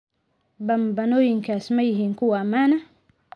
Bambaanooyinkaas ma yihiin kuwo ammaan ah?